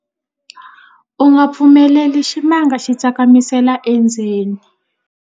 u nga pfumeleli ximanga xi tsakamisela endzeni